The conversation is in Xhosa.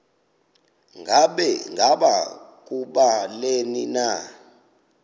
ngaba kubleni na